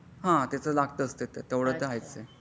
हा ते तर लागतच त्यानाच तेवढा तर आहेच आहे.